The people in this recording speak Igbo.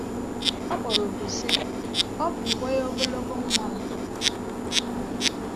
Ọ kpọrọ òkù sị: “Ọ bụ uwe ogologo nwa m!”